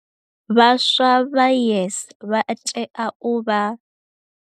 Vhaswa vha YES vha tea u vha.